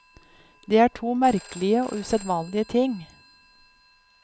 Det er to merkelige og usedvanlige ting.